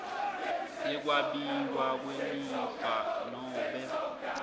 yekwabiwa kwelifa nobe